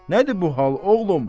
Nədir bu hal oğlum?